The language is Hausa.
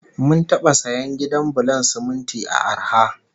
Mun taba sayan gidan bulon siminti a arha